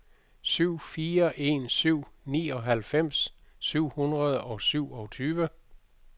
syv fire en syv nioghalvfems syv hundrede og syvogtyve